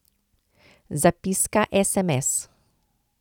Zapiska esemes.